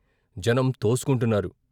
జనం తోసుకుంటున్నారు.